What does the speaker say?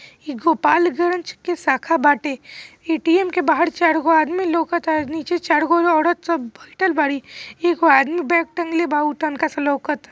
यह गोपाल गंज के शाखा बाटे| ए_टी_एम के बाहर चार गो आदमी लौकाता| नीचे चार गो औरत सब बैठल बाड़ी एगो आदमी बैग टांगले बा उ तनका सा लौकत --